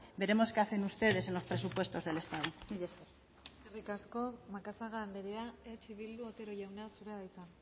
veremos que hacen ustedes en los presupuestos del estado mila esker eskerrik asko macazaga andrea eh bildu otero jauna zurea da hitza